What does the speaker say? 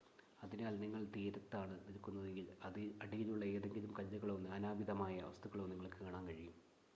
അതിനാൽ നിങ്ങൾ തീരത്താണ് നിൽക്കുന്നതെങ്കിൽ അടിയിലുള്ള ഏതെങ്കിലും കല്ലുകളോ നാനാവിധമായ വസ്തുക്കളോ നിങ്ങൾക്ക് കാണാൻ കഴിയും